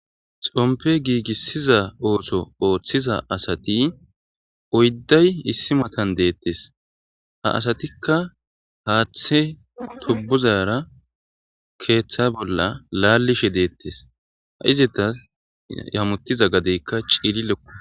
xompe giigissiza ooso ooththiza asati oydday issi matan deettes ha asatikka haaththe tubbuzayara keeththa bolla laallishe deettes ha izita yammotiza gadeykka ciililequ